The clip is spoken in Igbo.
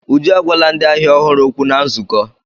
Uju agwala ndị ahịa ọhụrụ okwu na nzukọ.